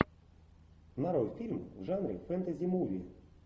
нарой фильм в жанре фэнтези муви